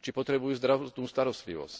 či potrebujú zdravotnú starostlivosť.